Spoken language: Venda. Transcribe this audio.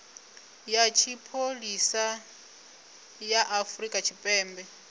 ya tshipholisa ya afrika tshipembe